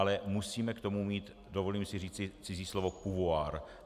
Ale musíme k tomu mít, dovolím si říct cizí slovo, pouvoir.